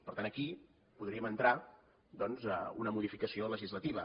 per tant aquí podríem entrar doncs una modificació legislativa